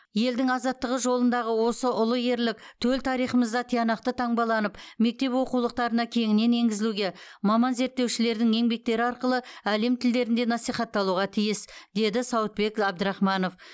елдің азаттығы жолындағы осы ұлы ерлік төл тарихымызда тиянақты таңбаланып мектеп оқулықтарына кеңінен енгізілуге маман зерттеушілердің еңбектері арқылы әлем тілдерінде насихатталуға тиіс деді сауытбек әбдірахманов